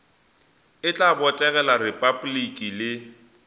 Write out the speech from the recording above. e tla botegela repabliki le